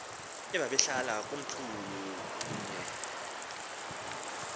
ababehlala komlthulu mhye